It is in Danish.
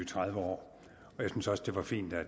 tredive år og jeg synes også det var fint at